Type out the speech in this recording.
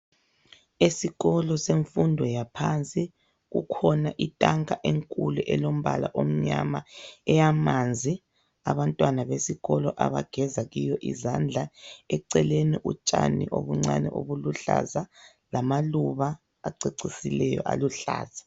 Esikolo semfundo yaphansi kukhona itanka enkulu elombala omnyama eyamanzi abantwana besikolo abageza kiyo izandla eceleni utshani obuncane obuluhlaza lamaluba acecisileyo aluhlaza.